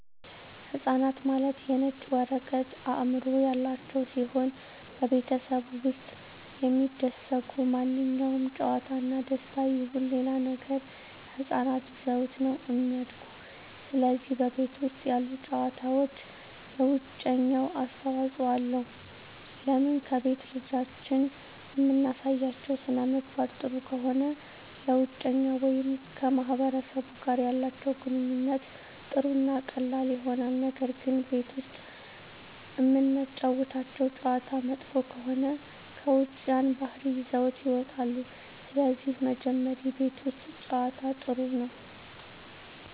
ህፃናት ማለት የነጭ ወረቀት አዕምሮ ያላቸው ሲሆን በቤተሠብ ውስጥ የሚደሰጉ ማንኛውም ጨዋታ እና ደስታ ይሁን ሌላ ነገር ህፃናት ይዘውት ነው እሚድጉ ስለዚህ በቤት ውስጥ ያሉ ጨዋታዎች ለውጨኛው አስተዋፅኦ አለው ለምን ከቤት ልጆችን እምናሳያቸው ሥነምግባር ጥሩ ከሆነ ለውጨኛው ወይም ከማህበረሰቡ ጋር ያላቸው ግንኙነት ጥሩ እና ቀላል ይሆናል ነገር ግን ቤት ውስጥ እምናጫውታቸው ጨዋታ መጥፎ ከሆነ ከውጭ ያን ባህሪ ይዘውት ይወጣሉ ስለዚህ መጀመሪ ቤት ውስት ጨዋታ ጥሩ ነው